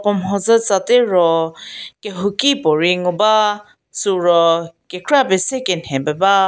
puo mhodzü tsa tie ro kehouki puo rei ngu ba süu ro kekra pie se kenhe pie ba.